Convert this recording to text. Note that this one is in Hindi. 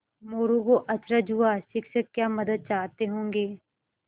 मोरू को अचरज हुआ शिक्षक क्या मदद चाहते होंगे